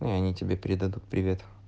и они тебе передадут привет